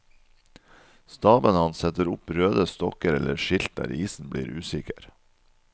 Staben hans setter opp røde stokker eller skilt der isen blir usikker.